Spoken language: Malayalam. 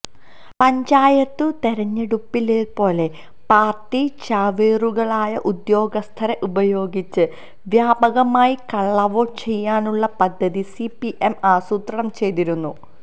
പഞ്ചായത്തു തെരഞ്ഞെടുപ്പിലേതുപോലെ പാര്ട്ടി ചാവേറുകളായ ഉദ്യോഗസ്ഥരെ ഉപയോഗിച്ച് വ്യാപകമായി കള്ളവോട്ടു ചെയ്യാനുള്ള പദ്ധതി സിപിഎം ആസൂത്രണം ചെയ്തിരുന്നു